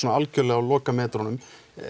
algjörlega á lokametrunum